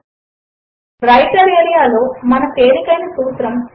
మరియు వ్రైటర్ ఏరియాలో మన తేలికైన సూత్రము